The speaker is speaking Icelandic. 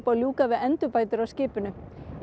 að ljúka við endurbætur á skipinu í